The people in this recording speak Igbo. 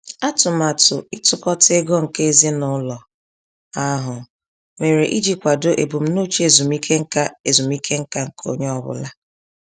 Atụmatụ ịtukọta ego nke ezinụlọ ahụ mere iji kwado ebumnuche ezumike nká ezumike nká nke onye ọ bụla.